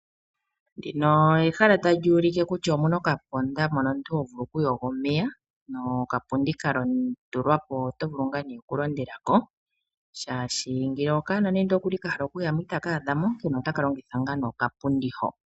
Ndino ehala talyu ulike kutya omuna okandama mono omuntu ho vulu ku yoga omeya nokapundi ka tulwa po. Oto vulu ngaa nee oku londela ko, shaashi nende okaana ka hala oku yamo itaka adhamo onkene otaka longitha nee okapundi ho.